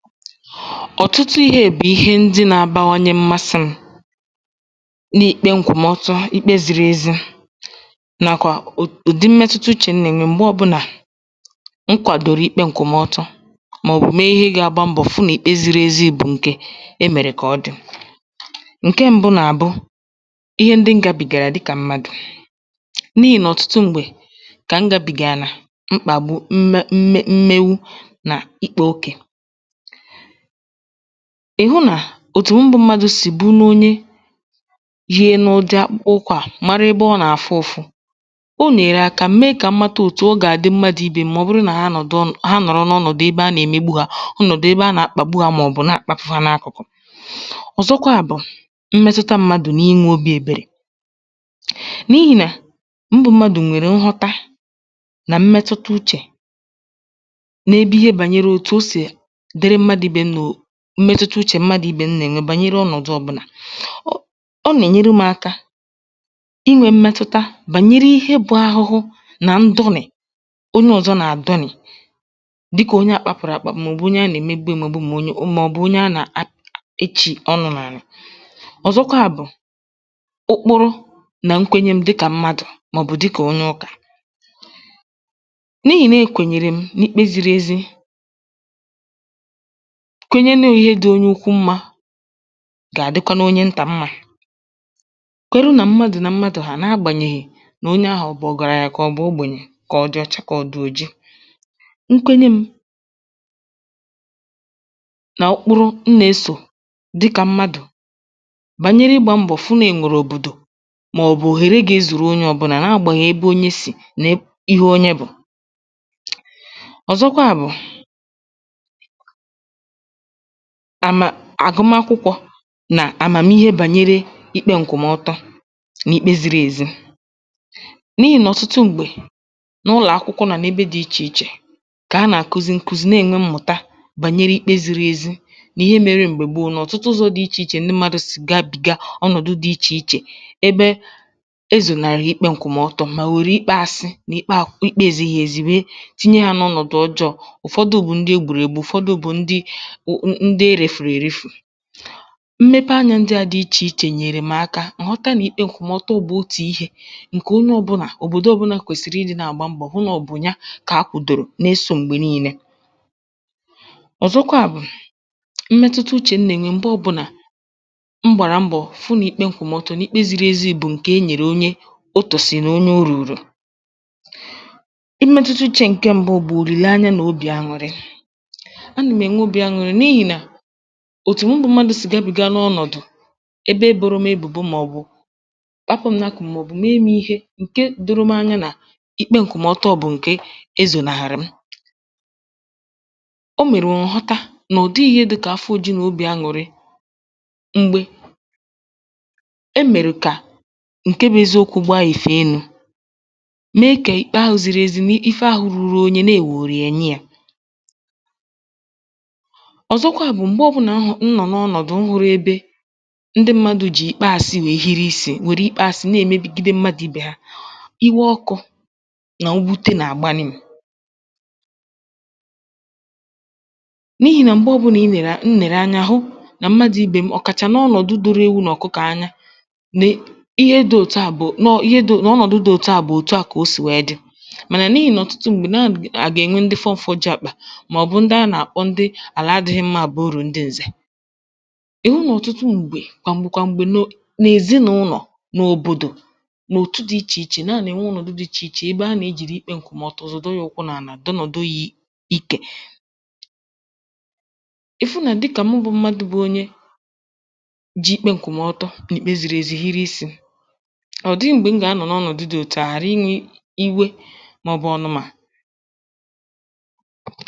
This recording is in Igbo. ọ̀tụtụ ihe bụ̀ ihe ndị na abawanye mmasị m, n’ikpe ǹkwụ̀mọtọ, ikpe ziri ezi, nà kwà ùdi mmẹtụta uchè nà ènye, m̀gbe ọbụnà m kwàdòrò ike ǹkwụmọtọ, mà ọ̀ bụ̀ me ihe ga agba mbọ̀, fụ nà ikpe zìrì èzi bụ̀ ǹkè e mèrè kà ọ dị̀. ǹkẹ mbụ bụ̀ nà àbụ, ịhẹ m gabìgàrà dịkà m̀madụ̀, n’ihì nà ọ̀tụtụ m̀gbè, kà m gabìgà na mkpàgbu, mmegbu, nà ịkpā ogè. ị̀hụ nà, òtù mụ bụ mmadù sì bumonye yi akpụkpọ ụkwụ̄ à, mara ebe ọ nà àfụ ụfụ, o nyèrè aka me kà m mata mmadù ibe m̀ màọ bụrụ nà ha nọ̀dụ, ha nọ̀rọ n’ụlọ̀ ebe a nà ème ugbu à, bụ ọnọ̀dụ̀ ebe a nà akpàgbu mà ò bụ̀ rapụ fa n’akụkụ̀. ọ̀zọkwà bụ̀ mṃɛtụta mmadù nà I mē obī èberè, n’ihì nà ndị mmadù nwèrè nghọta, na mmẹtụta uchè, n’ebe ihe bànyere òtù o sì dịrị mmadū ibè ya mà mmẹtụta uchè nà mmadù n’ibè ya bànyere ọnọ̀dụ ọbụlà. ọ nà ènyere m aka ịnwẹ mmẹtụta bànyere inwē ahụhụ, nà ndọnị̀ onye ọzọ nà àdọnị̀, dịkad onye a kpàgbùrù àkpàgbu, mà ọ̀ bụ̀ onye a nà èmegbu emegbu, mà ọ̀ bụ̀ onye a nà echì ọnụ̄ n’ànà/. ọ̀zọkwà bụ̀ okporo nà nkwenye m dịkà mmadù, mà ọ̀ bụ̀ dịkà onye ụkà. n’ihì nà e kwènyè m n’ikpe ziri ezi, onye na enweghi ihe dị̄ onye ukwu mmā, gà àdịkwanụ onye ntà mmā. o run à mmadù nà mmadù, na agbànyèghì nà ọ̀garanyà màkẁà ogbènye, mà ọ̀ dị̀ òji, mà ọ̀ dị̀ ọ̀cha, nkwenye m̄, nà ụkpụrụ m nà esò, dịkà mmadù bànyere ịgbā mbọ̀ fụ nà e nwèrè òbòdò mà ọ̀ bụ̀ ihe ga ezùru onye ọbụlà, na agbànyèghi ebe onye sì, na ihe onye bụ̀. ọ̀zọkwà bụ̀, àmà àgụma akwụkwọ nà àmàmihe bànyere ikpe ǹkwụ̀mọtọ, nà ikpe ziri èzi, n’ihì nà otū m̀gbè, n’ụlọ̀ akwụkwọ nà ànà ebe dị ichè ichè, kà a nà àkuzi nà ème mmụ̀ta, bànyere ikpe ziri ezi, nà ihe mere m̀gbè gbo, mà ọ̀tụtụ ụzọ̄ mmadū sì gabìga ọnọ̀dụ dị ichè ichè, ebe e zonàrị̀ ikpe ǹkwụmọtọ, mà wère ikpe asị nà ikpe ezighi ezi, wẹ tinye ya n’ọnọ̀dụ̀ ọjọọ̄. ụ̀fọdụ bụ̀ ndị e gbùrù ègbu. ụ̀fọdụ bụ̀ ndị m m m ndị erèfùrù èrefù. mmepe anyā ndị à dị ichè ichè nyèrè m aka kà m ghọta nà ihe ǹkwụ̀mọtọ bụ̀ otū ihē ǹkè onye ọbụnà kwèsìrì ị dị̄ nà àgba mbọ̀, hụ nà ọ bụ̀ ya kà a kwùdò na esō m̀gbè nine. ọ̀zọkwà bụ̀, mmẹtụta uchè m nà ènwe site nà m gbàrà mbọ̀ fụ nà ikpe m kwụ̀rụ̀ ọtọ, nà ikpe zìrì ɛ̀zi bụ̀ ǹkè ẹ nyẹ̀rẹ̀ onye o kwèsị̀rị̀ onye o rùrù. ịmẹtụta uchē ǹkẹ mbụ bụ̀ nrùgharị ǹkẹ̀ obì anụrị. a nà m̀ ẹnwe obī anụrị, n’ihì nà, òtù ndị mmadū sì àgabìga ọnọ̀dụ̀, ẹbẹ e bòrò ebùbo mà ọ̀ bụ̀ kpakuo mmadù, mà ọ̀ bụ̀ n’ihì nà, ǹke doro m anya, ǹke ǹkwụmọtọ m̄ bụ̀ ǹkè ezònàrị̀ m. o me m̀ ghọta nà ọ̀ dịghị̄ ihe dịkà afọ ojuju nà obì anụ̀rị, m̀gbè e mèrè kà ǹke bụ eziokwū gba ìfèe enū, na ekè ikpe ahụ̄ ziri ezi, nà ife ahụ̄ ruru onye, nà ewòrò yà nye ya. ọ̀zọkwa bụ̀ m̀gbe ọbụnà m nọ̀ n’ọnọ̀dụ̀ ikpe, ndị mmadū jì ikpe asi wèe hiri isī, megide mmadù ibè ya, iwe ọkụ̄ nà mwute nà àbanye, n’ihì nà m̀gbe ọbụnà m nèrè anya hụ, nà mmadū ibe m, ọ̀kàchà n’ọnọ̀dụ̀ doro ewu nà ọ̀kụkọ̀ anya, nà ihe dị òtu à bụ̀ nà ọ òtu à kà o sì wẹ dị, mànà n’ihì ǹnọ nà ọ̀tụtụ m̀gbè nà ọ à gà ènwe ndị fọfọjuo àkpà, mà ọ̀ bụ̀ ndị a nà àkpọ àlà adịghị mmā bụ̀ urù ndị ẹ̀zẹ̀. e nwè ọ̀tụtụ m̀gbè mà bụ̀kwà m̀gbè nà èzịnụlọ̀, n’òbòdò, mà ọ̀ òtu dị ichè ichè, nà a nà ènwe ọnọ̀dụ dị ichè ichè, ebe a nà èji ikpe ǹkwùmà ọtọ à zọ̀do ya ukwụ n’ànà, dọnòdo ya ikè. ị̀ fụ nà dịkà mụ bụ̀ mmadū bụ onye ji ikpe ǹkwụ̀mọtọ, nà ikpe ziri ezi hiri isī, ọ̀ dịghị̄ m̀gbè m gà anọ̀rọ n’ọnọ̀dụ dị̄ òtù ahụ̀, ghàra ị nwe iwe, mà ọ̀ bụ̀ ọ̀nụ̀mà